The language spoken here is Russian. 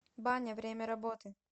баня время работы